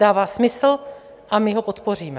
Dává smysl a my ho podpoříme.